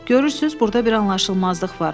Görürsüz, burda bir anlaşılmazlıq var.